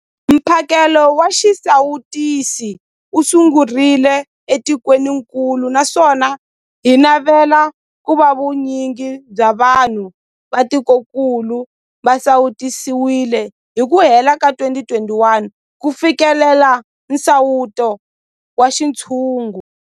Mphakelo wa xisawutisi wu sungurile etikwenikulu naswona hi navela ku va vu nyingi bya vanhu va tikokulu va sawutisiwile hi ku hela ka 2021 ku fikelela nsawuto wa xintshungu.